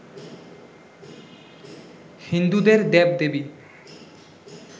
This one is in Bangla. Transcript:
হিন্দুদের দেব-দেবী